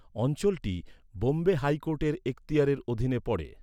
অঞ্চলটি বোম্বে হাইকোর্টের এক্তিয়ারের অধীনে পড়ে।